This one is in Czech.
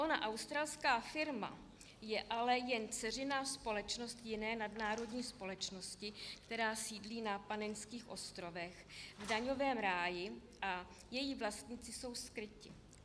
Ona australská firma je ale jen dceřiná společnost jiné nadnárodní společnosti, která sídlí na Panenských ostrovech v daňovém ráji, a její vlastníci jsou skryti.